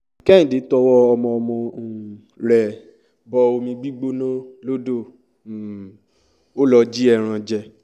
kẹ́hìndẹ́ tọwọ́ ọmọọmọ um rẹ̀ bọ omi gbígbóná lodò um ò lọ jí ẹran jẹ